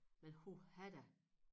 Men huha da